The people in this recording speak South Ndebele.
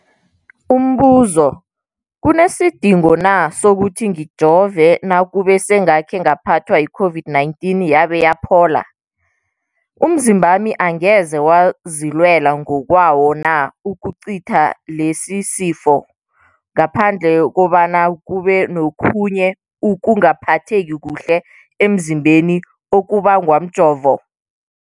Umbuzo, kunesidingo na sokuthi ngijove nakube sengakhe ngaphathwa yi-COVID-19 yabe yaphola? Umzimbami angeze wazilwela ngokwawo na ukucitha lesisifo, ngaphandle kobana kube nokhunye ukungaphatheki kuhle emzimbeni okubangwa mjovo?